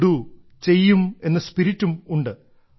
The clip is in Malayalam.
വിൽ ഡോ ചെയ്യും എന്ന സ്പിരിറ്റും ഉണ്ട്